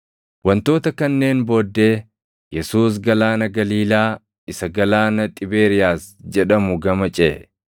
Wantoota kanneen booddee Yesuus Galaana Galiilaa isa Galaana Xibeeriyaas jedhamu gama ceʼe;